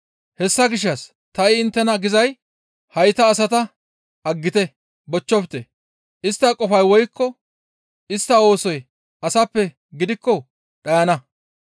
«Hessa gishshas ta ha7i inttena gizay hayta asata aggite, bochchofte; istta qofay woykko istta oosoy asappe gidikko dhayana.